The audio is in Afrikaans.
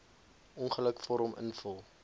ongeluk vorm invul